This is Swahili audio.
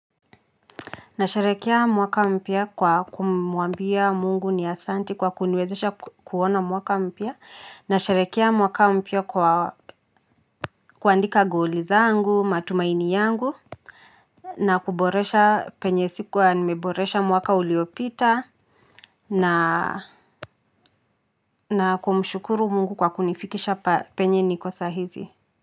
Na sharekea mwaka mpia kwa kumuambia mungu ni asanti kwa kunwezesha kuona mwaka mpia. Na sharekia mwaka mpia kwa kuandika goli zaangu, matumaini yangu. Na kuboresha penyesikuwa nimeboresha mwaka uliopita. Na kumshukuru mungu kwa kunifikisha penye ni kosa hizi.